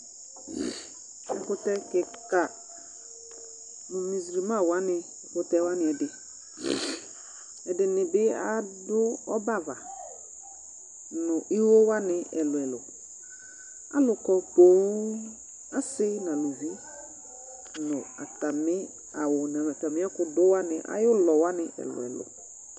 Ɛkʋtɛ kɩka, mʋ muzulma wanɩ ɛkʋtɛ wanɩ ɛdɩƐdɩnɩ bɩ adʋ ɔbɛ ava nʋ iwo wanɩ ɛlʋɛlʋAlʋ kɔ pooo ,asɩ naluvi nʋ atamɩ awʋ n 'atamɩ ɛkʋ dʋ wanɩ ayʋ ʋlɔ wanɩ ɛlʋɛlʋ